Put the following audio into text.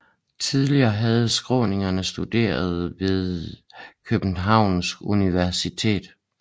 Tidligere havde skåninger studeret ved Københavns Universitet